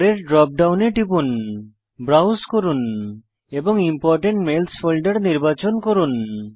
পরের ড্রপ ডাউনে টিপুন ব্রাউজ করুন এবং ইম্পোর্টেন্ট মেইলস ফোল্ডার নির্বাচন করুন